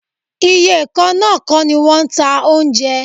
Iye kan náà kọ́ ni wọ́n ń ta oúnjẹ.